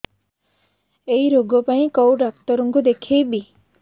ଏଇ ରୋଗ ପାଇଁ କଉ ଡ଼ାକ୍ତର ଙ୍କୁ ଦେଖେଇବି